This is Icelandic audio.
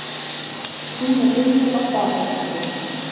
Hún er inni á baðherberginu.